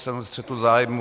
Jsem ve střetu zájmů.